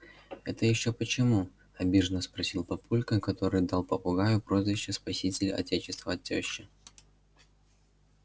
это ещё почему обиженно спросил папулька который дал попугаю прозвище спаситель отечества от тёщи